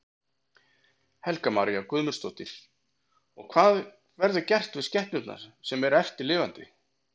Helga María Guðmundsdóttir: Og hvað verður gert við skepnurnar sem eru eftir lifandi?